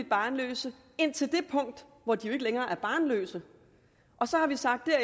barnløse indtil det punkt hvor de jo ikke længere er barnløse og så har vi sagt at